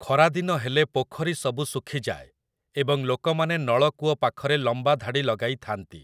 ଖରାଦିନ ହେଲେ ପୋଖରୀ ସବୁ ଶୁଖିଯାଏ ଏବଂ ଲୋକମାନେ ନଳକୂଅ ପାଖରେ ଲମ୍ବା ଧାଡ଼ି ଲଗାଇ ଥାଆନ୍ତି ।